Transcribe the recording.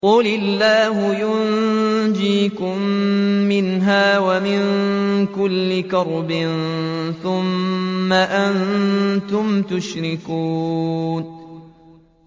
قُلِ اللَّهُ يُنَجِّيكُم مِّنْهَا وَمِن كُلِّ كَرْبٍ ثُمَّ أَنتُمْ تُشْرِكُونَ